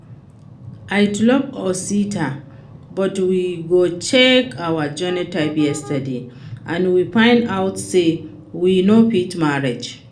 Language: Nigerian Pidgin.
I too love Osita but we go check our genotype yesterday and we find out say we no fit marry